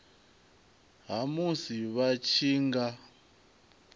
ha musi vha tshi nga